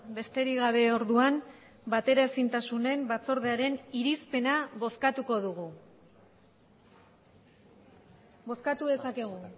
besterik gabe orduan bateraezintasunen batzordearen irizpena bozkatuko dugu bozkatu dezakegu